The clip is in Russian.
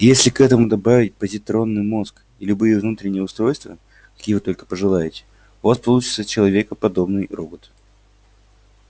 и если к этому добавить позитронный мозг и любые внутренние устройства какие вы только пожелаете у вас получится человеко подобный робот